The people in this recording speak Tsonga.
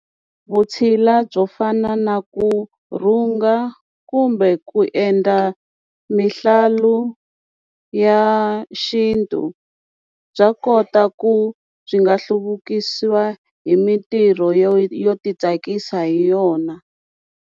Vutshila byo fana na ku rhunga kumbe ku endla mihlalu ya xintu bya kota ku byi nga hluvukisiwa hi mintirho yo yo ti tsakisa hi yona.